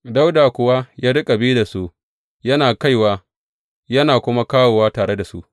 Dawuda kuwa ya riƙa bi da su yana kaiwa yana kuma da tare da su.